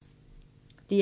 DR1